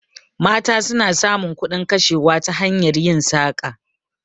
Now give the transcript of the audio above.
Mata suna samun kudin kashewa ta hanyar yin saƙa